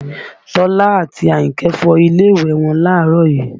Tọ́lá àti Àyìnkẹ́ fọ ilé ìwẹ̀ wọn láàárọ̀ yìí